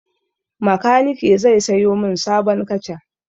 Makanike zai sayo min sabon kaca.